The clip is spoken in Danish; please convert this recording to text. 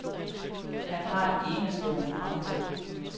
Han har en strålende fremtid.